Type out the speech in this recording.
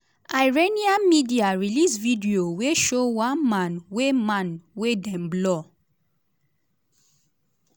iranian media release video wey show one man wey man wey dem blur